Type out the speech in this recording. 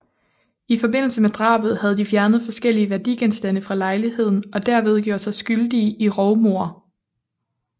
I forbindelse med drabet havde de fjernet forskellige værdigenstande fra lejligheden og derved gjort sig skyldige i rovmord